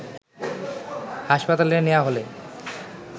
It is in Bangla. হাসপাতালে নেওয়া হলে